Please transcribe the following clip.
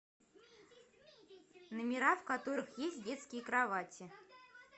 номера в которых есть детские кровати